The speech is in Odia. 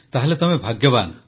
ତାହେଲେ ତମେ ଭାଗ୍ୟବାନ